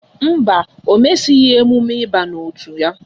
Mba, ọ mesighi emume ịba n'otu ya